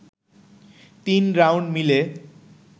তিন রাউন্ড মিলে